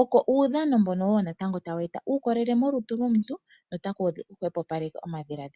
oko uudhano mbono wo natango tawu eta uukolele molutu lwomuntu notaku hwepopaleke omadhiladhilo.